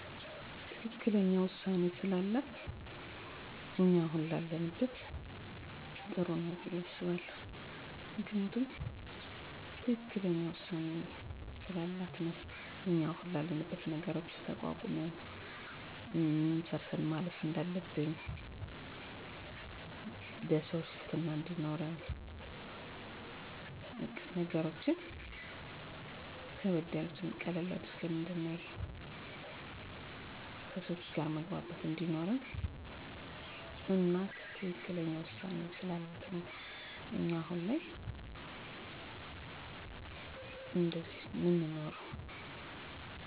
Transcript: አዎ በአስተዳደጌ ውስጥ እናቴ ጉልህ ሚና አላት በእኔ ህይወት ውስጥ እናቴ ጠንካራ ያለ አባት ብዙ ልጆችን ቀን ከሌት ደከመኝ ሳትል ልጆቿን የተሻለ ደረጃ ለማድረስ የተጋች ብልህ አርቆ አሳቢ በመሆኗ በእኔ ህይወት ውስጥ ጉልህ ሚና ተጫውታለች። ተፅእኖ ያሳደረችብኝ ቆራጥ ትክክለኛ ውሳኔ ስለምትወስን ጠቃሚ ምክር ስለምትሰጥ፣ የተሻለ ቦታ እንድንደርስ ስለምትተጋ እኔም ችግሮች ቢያጋጥሙኝ በቁርጠኝነት እና በብልሀት እንዳልፋቸው ጥሩ ተፅኖ አድርጋብኛለች።